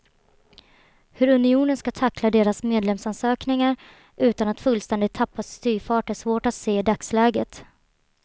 Hur unionen ska tackla deras medlemsansökningar utan att fullständigt tappa styrfart är svårt att se i dagsläget.